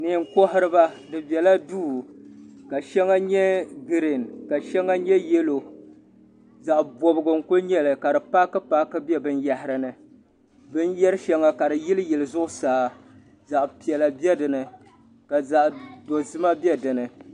Neen' kohiri ba, bi bela duu, ka shaŋa nyɛ green ka nyɛ yalow zaɣi bɔbigu n-ku nyɛli ka di paaki paaki be bi yahiri ni binyari shaŋa kadi yili yili zuɣu saa zaɣi pɛla be dini ka zaɣ' dozima be dini.